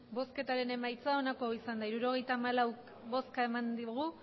bozketaren emaitza onako izan da hirurogeita hamalau eman dugu